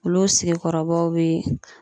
Olu sigikɔrɔbaw be